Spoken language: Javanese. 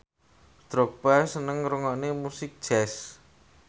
Drogba seneng ngrungokne musik jazz